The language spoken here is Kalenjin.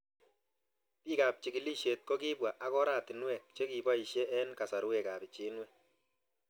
Pik ab chikilishet ko kipwa ak oratinwek che kipoishe eng' kasarwek ab pichinwek